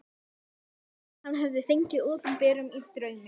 Það mátti halda að hann hefði fengið opinberun í draumi.